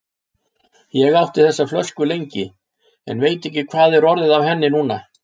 Ég átti þessa flösku lengi, en veit ekki hvað er orðið af henni núna.